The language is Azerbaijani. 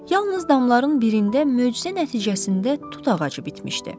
Yalnız damların birində möcüzə nəticəsində tut ağacı bitmişdi.